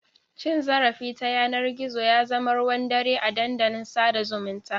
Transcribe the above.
Cin zarafi ta yanar gizo ya zama ruwan dare a dandalin sada zumunta.